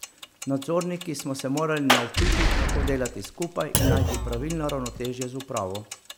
Nadzorniki smo se morali naučiti, kako delati skupaj in najti pravilno ravnotežje z upravo.